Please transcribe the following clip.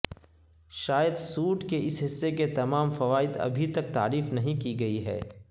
شاید سوٹ کے اس حصے کے تمام فوائد ابھی تک تعریف نہیں کی گئی ہے